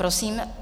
Prosím.